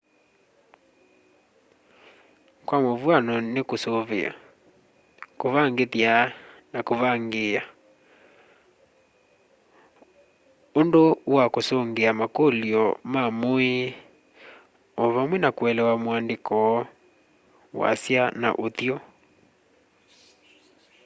kwa mũvwano nĩ kũsũvĩa kũvangĩthya na kũvangĩĩa ũndũ wa kũsũngĩa makũlyo ma mũũĩ o vamwe na kũelewa mũandĩko wasya na ũthyũ